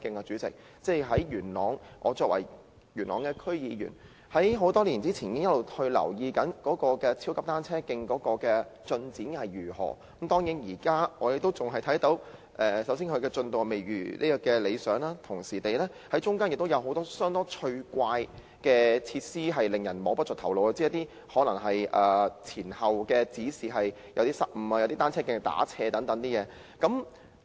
主席，我作為元朗區議員，多年前已開始留意超級單車徑的進展，當然，我們現時看到其進度未如理想，而且中間還有很多相當趣怪的設施，令人摸不着頭腦，例如是一些失誤的指示，有些單車徑是斜向的等。